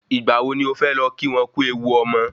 Ìgbà wo ni o fé lọ kí wọn kú ewu ọmọ?